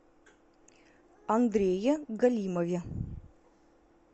андрее галимове